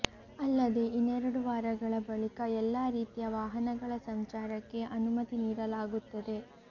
ಅಲ್ಲದೇ ಇನ್ನೆರಡು ವಾರಗಳ ಬಳಿಕ ಎಲ್ಲಾ ರೀತಿಯ ವಾಹನಗಳ ಸಂಚಾರಕ್ಕೆ ಅನುಮತಿ ನೀಡಲಾಗುತ್ತದೆ